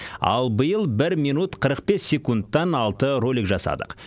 ал биыл бір минут қырық бес секундтан алты ролик жасадық